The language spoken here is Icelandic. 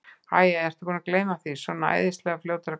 Æ, æ, ertu búinn að gleyma því. svona æðislega fljótur að gleyma bara.